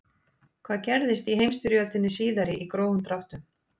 hvað gerðist í heimsstyrjöldinni síðari í grófum dráttum